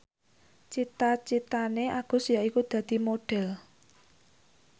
cita citane Agus yaiku dadi Modhel